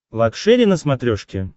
лакшери на смотрешке